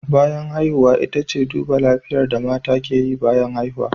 Bayan haihuwa ita ce duba lafiyar da mata ke yi bayan haihuwa